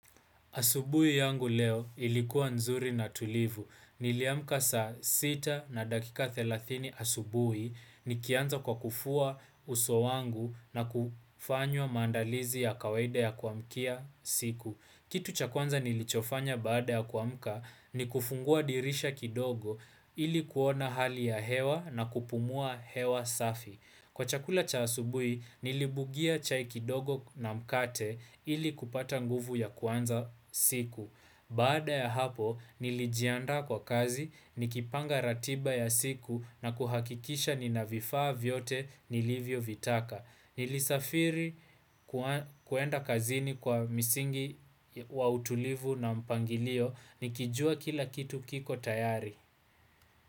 Asubui yangu leo ilikuwa nzuri na tulivu. Niliamka saa sita na dakika thelathini asubui nikianza kwa kufua uso wangu na kufanywa maandalizi ya kawaida ya kuamkia siku. Kitu cha kwanza nilichofanya baada ya kuamka ni kufungua dirisha kidogo ili kuona hali ya hewa na kupumua hewa safi. Kwa chakula cha asubui, nilibugia chai kidogo na mkate ili kupata nguvu ya kuanza siku. Baada ya hapo, nilijiandaa kwa kazi, nikipanga ratiba ya siku na kuhakikisha nina vifaa vyote nilivyo vitaka. Nilisafiri kwenda kazini kwa misingi wa utulivu na mpangilio, nikijua kila kitu kiko tayari.